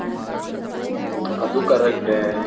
ಅದು correct A